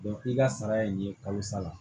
i ka sara ye nin ye kalo sa la